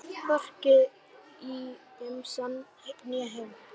Hvorki í gemsann né heima.